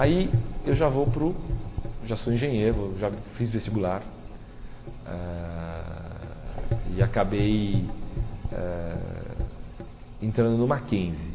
Aí eu já vou para o já sou engenheiro vou, já fiz vestibular ãh e acabei eh entrando no Mackenzie.